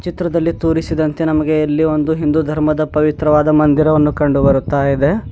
ಚಿತ್ರದಲ್ಲಿ ತೋರಿಸಿದಂತೆ ನಮಗೆ ಇಲ್ಲಿ ಒಂದು ಹಿಂದು ಧರ್ಮದ ಪವಿತ್ರವಾದ ಮಂದಿರವನ್ನು ಕಂಡಿ ಬರುತ್ತಾ ಇದೆ.